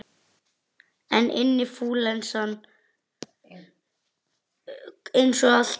En inflúensan kom, eins og alltaf.